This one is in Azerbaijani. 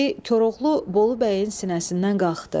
Koroğlu Bolu Bəyin sinəsindən qalxdı.